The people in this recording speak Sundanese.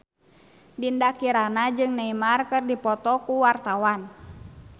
Dinda Kirana jeung Neymar keur dipoto ku wartawan